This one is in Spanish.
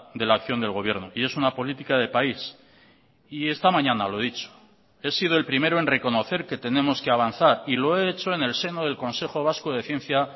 de la acción del gobierno y es una política de país y esta mañana lo he dicho he sido el primero en reconocer que tenemos que avanzar y lo he hecho en el seno del consejo vasco de ciencia